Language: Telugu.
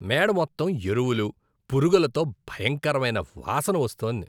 మేడ మొత్తం ఎరువులు, పురుగులతో భయంకరమైన వాసన వస్తోంది.